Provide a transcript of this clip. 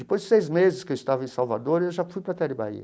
Depois de seis meses que eu estava em Salvador, eu já fui para a Tele Bahia.